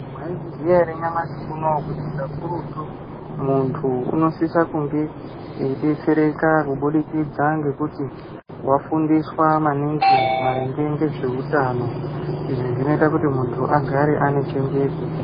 Mwaizviziya ere nyamashi unouwu kuti kakurutu muntu unosisa kunge eidetsereka kubudikidza ngekuti wafundiswa maningi maringe ngezveutano izvi zvinoita kuti muntu agare ane chenjedzo.